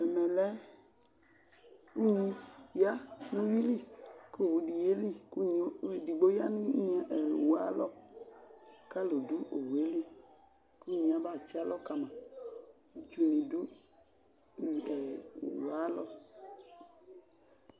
Ɛmɛ lɛ unyi ya nʋ ʋyuili k'owudɩ yeli, unyi ɛdigbo ya nʋ owu yɛ ayalɔ k'alʋdʋ owunyɛli, k'unyi yɛ abatsɩ alɔ kama, itsunɩ dʋ ɛɛ owu yɛ ayalɔ